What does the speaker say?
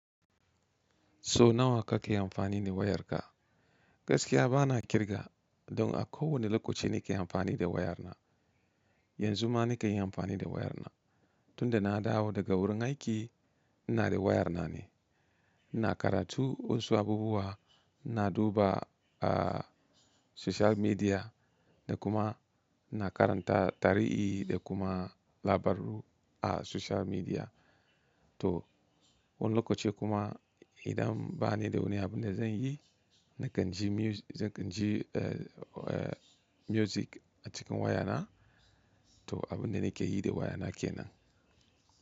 So nawa kake amfani ne wayarka? Gaskiya bana kirga don a kowane lokaci nake amfani da wayana. Yanzu ma nake amfani da wayarna. Tunda na dawo daga wurin aiki, ina da wayarna ne. Na karatu wasu abubuwa, ina duba a social media da kuma na karanta tarihi da kuma labaru a social media. To wani lokaci kuma idan ba ni da wani abin da zan yi, nakan ji muzi-- nakan ji eh, eh, music a cikin wayana. To abin da nake yi da wayana kenan.